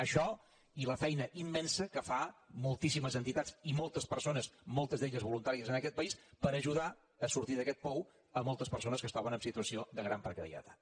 això i la feina immensa que fan moltíssimes entitats i moltes persones moltes d’elles voluntàries en aquest país per ajudar a sortir d’aquest pou moltes persones que es troben en situació de gran precarietat